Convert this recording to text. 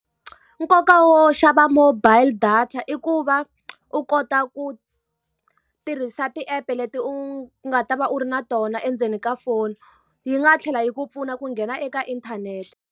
Nkoka wo xava mobile data i ku va u kota ku tirhisa ti-app-e leti u nga ta va u ri na tona endzeni ka foni. Yi nga tlhela yi ku pfuna ku nghena eka inthanete.